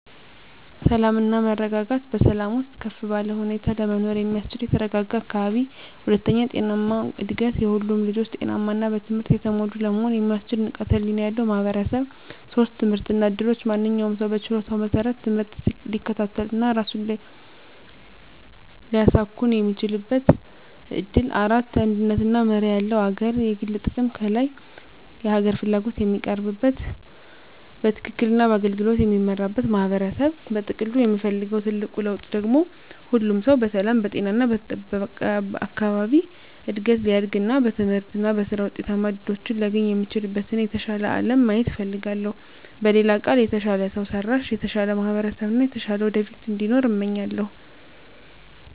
1. ሰላም እና መረጋጋት በሰላም ውስጥ ከፍ ባለ ሁኔታ ለመኖር የሚያስችል የተረጋጋ አካባቢ። 2. ጤናማ እድገት ሁሉም ልጆች ጤናማ እና በትምህርት የተሞሉ ለመሆን የሚያስችል ንቃተ ህሊና ያለው ማህበረሰብ። 3. ትምህርት እና እድሎች ማንኛውም ሰው በችሎታው መሰረት ትምህርት ሊከታተል እና ራሱን ሊያሳኵን የሚችልበት እድል። 4. አንድነት እና መርህ ያለው አገር የግል ጥቅም ከላይ የሀገር ፍላጎት የሚቀርብበት፣ በትክክል እና በአገልግሎት የሚመራበት ማህበረሰብ። በጥቅሉ የምፈልገው ትልቁ ለውጥ ደግሞ ሁሉም ሰው በሰላም፣ በጤና እና በተጠበቀ አካባቢ እድገት ሊያድግ እና በትምህርት እና በሥራ ውጤታማ እድሎችን ሊያገኝ የሚችልበትን የተሻለ አለም ማየት እፈልጋለሁ። በሌላ ቃል፣ የተሻለ ሰው ሰራሽ፣ የተሻለ ማህበረሰብ እና የተሻለ ወደፊት እንዲኖር እመኛለሁ።